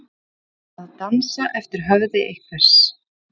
Að dansa eftir höfði einhvers